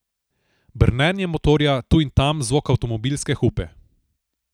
Brnenje motorja, tu in tam zvok avtomobilske hupe.